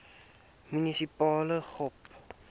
munisipale gop